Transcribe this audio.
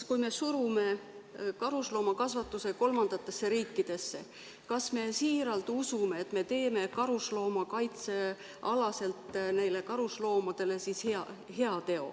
Kui me surume karusloomakasvatuse kolmandatesse riikidesse, kas me siiralt usume, et me teeme karusloomadele nende kaitse mõttes heateo?